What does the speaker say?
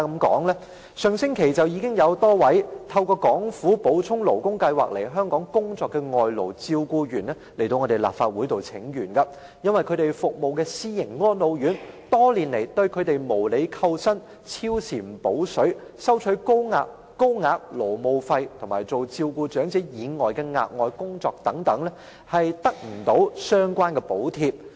在上星期，便有多位透過港府補充勞工計劃來港工作的外勞照顧員到立法會請願，他們所服務的私營安老院多年來對他們無理扣薪、加班沒有"補水"、收取高額勞務費，以及要他們負責照顧長者以外的額外工作，卻又無法得到相關補貼。